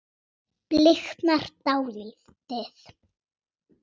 Bliknar dáldið.